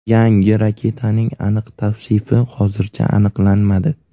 Yangi raketaning aniq tavsifi hozircha aniqlanmadi.